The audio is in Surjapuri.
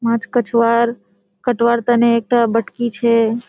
माछ कटवा तेने एकटा बटकी छे।